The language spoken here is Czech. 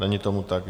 Není tomu tak.